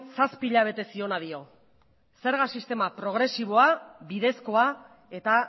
zazpi hilabete ziona dio zerga sistema progresiboa bidezkoa eta